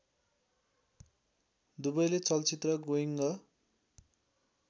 दुबैले चलचित्र गोइङ्ग